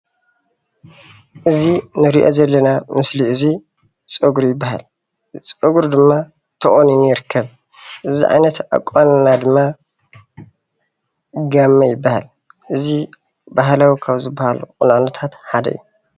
እዚ እንሪኦ ዘለና ምስሊ እዙይ ፀጉሪ ይበሃል። ፀጉሪ ድማ ተቆኒኑ ይርከብ ።እዚ ዓይነት ኣቋንና ድማ ጋመ ይበሃል። እዙ ባህላዊ ካብ ዝበሃሉ ቁኖታት ሓደ እዩ።